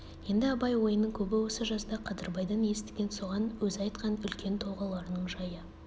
енді абай ойының көбі осы жазда қадырбайдан естіген соған өзі айтқан үлкен толғауларының жайы